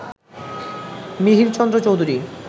Mihirchandra Chowdhury